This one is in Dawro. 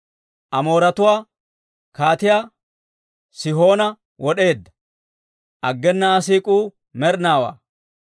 Amooretuwaa kaatiyaa Sihoona wod'eedda; aggena Aa siik'uu med'inaawaa.